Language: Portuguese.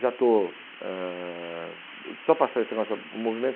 Já estou... Ãh só passar esse mais o movimento.